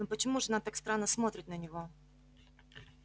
но почему же она так странно смотрит на него